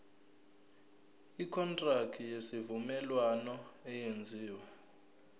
ikontraki yesivumelwano eyenziwe